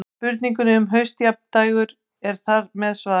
Spurningunni um haustjafndægur er þar með svarað.